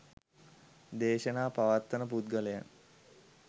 දේශනා පවත්වන පුද්ගලයන්